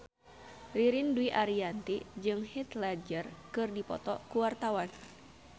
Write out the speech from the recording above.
Ririn Dwi Ariyanti jeung Heath Ledger keur dipoto ku wartawan